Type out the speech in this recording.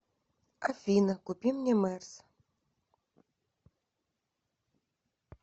афина купи мне мерс